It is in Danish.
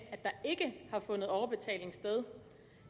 at der har fundet overbetaling sted